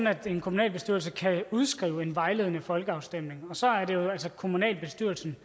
at en kommunalbestyrelse kan udskrive en vejledende folkeafstemning og så er det altså kommunalbestyrelsen